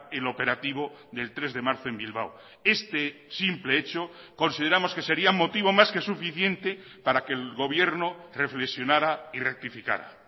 el operativo del tres de marzo en bilbao este simple hecho consideramos que sería motivo más que suficiente para que el gobierno reflexionara y rectificara